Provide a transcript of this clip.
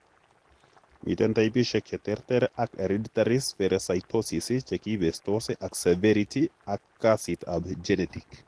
Miten taipisiek cheterter ab hereditary spherocytosis chekibestos ab severity ak kasit ab genetic